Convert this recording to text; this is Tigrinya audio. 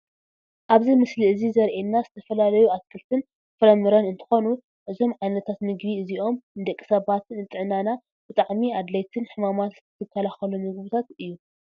ኣብዚ ምስሊ እዚ ዘሪኤና ዝተፈላለዩ ኣትክልትን ፍራምረን እንትኾኑ እዞም ዓይነታት ምግቢ እዚኦም ንደቂ ሰባት ንጥዕናና ብጣዕሚ ኣድለይትን ሕማም ዝከላኸሉን ምግብታት እዩ፡፡